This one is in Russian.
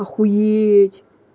охуеть